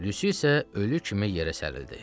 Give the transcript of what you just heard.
Lyusi isə ölü kimi yerə sərildi.